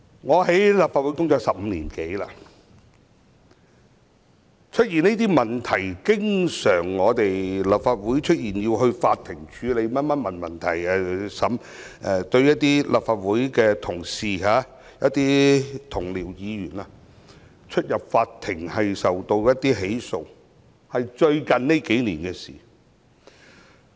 我在立法會工作已經超過15年，但立法會經常出現這些問題，要由法院處理及審理；立法會的同事、議員要出入法院，受到起訴，是最近數年的事。